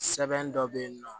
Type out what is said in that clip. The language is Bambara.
Sɛbɛn dɔ bɛ yen nɔ